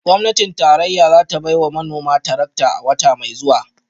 Gwamnatin tarayya za ta bai wa manoma tarakta a wata mai zuwa